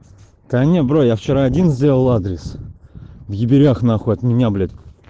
да не бро я вчера один сделал адрес в еберях нахуй от меня блять